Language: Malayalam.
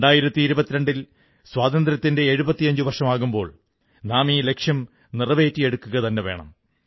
2022ൽ സ്വാതന്ത്ര്യത്തിന്റെ 75 വർഷമാകുമ്പോൾ നാം ഈ ലക്ഷ്യം നേടിയെടുക്കുക തന്നെ വേണം